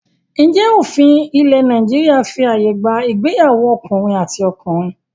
Ǹjẹ́ òfin ilẹ̀ Nàìjíríà fí ààyè gba ìgbéyàwó ọkùnrin àti ọkùnrin?